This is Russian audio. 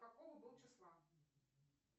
какого был числа